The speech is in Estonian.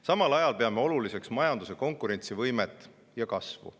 Samal ajal peame oluliseks majanduse konkurentsivõimet ja kasvu.